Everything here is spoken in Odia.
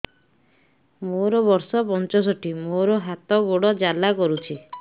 ମୋର ବର୍ଷ ପଞ୍ଚଷଠି ମୋର ହାତ ଗୋଡ଼ ଜାଲା କରୁଛି